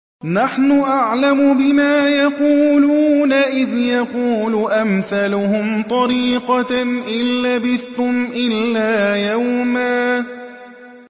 نَّحْنُ أَعْلَمُ بِمَا يَقُولُونَ إِذْ يَقُولُ أَمْثَلُهُمْ طَرِيقَةً إِن لَّبِثْتُمْ إِلَّا يَوْمًا